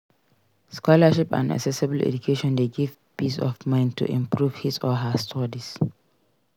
Scholarship and accessible education de give peace of mind to improve his or her studies